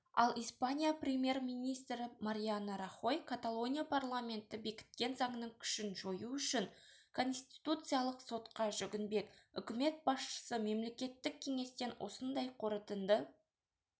ал испания премьер-министрі мариано рахой каталония парламенті бекіткен заңның күшін жою үшін конституциялық сотқа жүгінбек үкімет басшысы мемлекеттік кеңестен осындай қорытынды